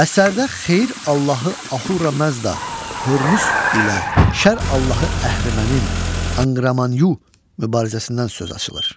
Əsərdə xeyir Allahı Ahura Məzda Hörmüz ilə şər Allahı əhrimənin anqramanyu mübarizəsindən söz açılır.